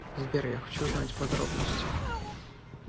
сбер я хочу знать подробности